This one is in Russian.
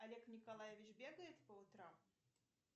олег николаевич бегает по утрам